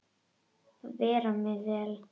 Bera mig vel?